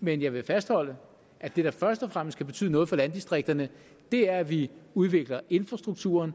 men jeg vil fastholde at det der først og fremmest kan betyde noget for landdistrikterne er at vi udvikler infrastrukturen